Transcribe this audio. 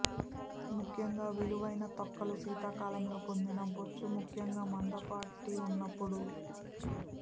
ముఖ్యంగా విలువైన తొక్కలు శీతాకాలంలో పొందిన బొచ్చు ముఖ్యంగా మందపాటి ఉన్నప్పుడు